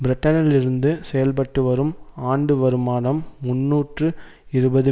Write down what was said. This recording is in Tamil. பிரிட்டனில் இருந்து செயல்பட்டு வரும் ஆண்டு வருமானம் முன்னூற்று இருபது